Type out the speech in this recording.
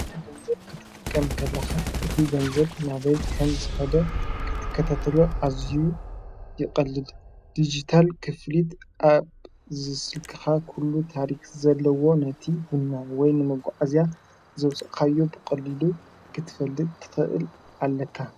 ጥረ ገንዘብ ክትጠቀ ም ንከለኻ እቲ ገንዘብ ናበይ ከም ዝኸደ ክትከተተሎ ኣዙይ ይቐልል። ዲጅታል ክፍሊት ኣብ ዝስልክኻ ዂሉ ታሪኽ ዘለዎ ነቲ ድናን ወይ ንመጕዕእዚያ ዘውፀኻዮ ብቕሊሉ ክትፈልጥ ትኸእል ኣለካ።